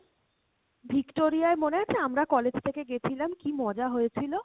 Victoria য় মনে আছে আমরা college থেকে গেছিলাম কী মজা হয়েছিলো?